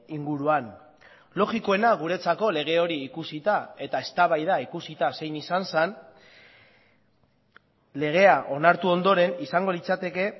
inguruan logikoena guretzako lege hori ikusita eta eztabaida ikusita zein izan zen legea onartu ondoren izango litzateke